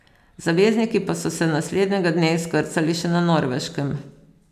Zavezniki pa so se naslednjega dne izkrcali še na Norveškem.